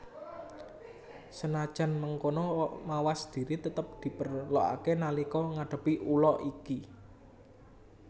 Senajan mengkono mawas diri tetep diperlokaké nalika ngadepi ula iki